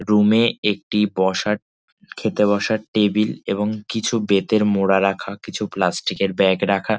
Room - এ একটি বসার খেতে বসার টেবিল | এবং কিছু বেতের মোড়া রাখা কিছু প্লাস্টিকের ব্যাগ রাখা।